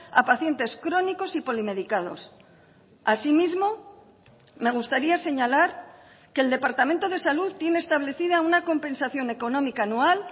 a pacientes crónicos y polimedicados asimismo me gustaría señalar que el departamento de salud tiene establecida una compensación económica anual